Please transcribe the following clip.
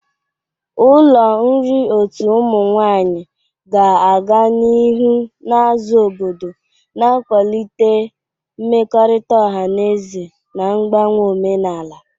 Ụlọ nri otu ụmụ nwanyị ga-aga n'ihu na-azụ obodo, na-akwalite mmekọrịta ọha na eze na mgbanwe omenala.